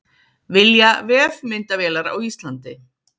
Vilja vefmyndavélar á Íslandi